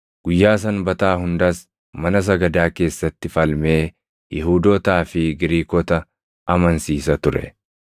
Guyyaa Sanbataa hundas mana sagadaa keessatti falmee Yihuudootaa fi Giriikota amansiisa ture.